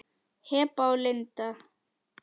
Heba og Linda.